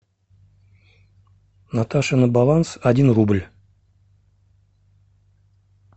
наташе на баланс один рубль